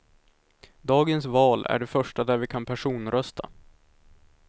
Dagens val är det första där vi kan personrösta.